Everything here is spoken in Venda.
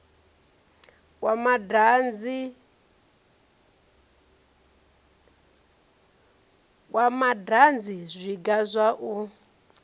kwa madanzi zwiga zwa u